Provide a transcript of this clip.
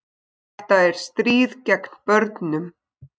Þetta er stríð gegn börnum